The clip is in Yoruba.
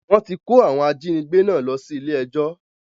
Wọ́n ti kó àwọn ajínigbé náà lọ sí ilé ẹjọ́